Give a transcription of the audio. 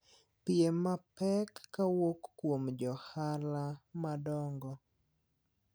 pie mapek ka wuok kuom johola madongo.